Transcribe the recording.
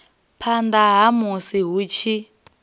phanḓa ha musi hu tshi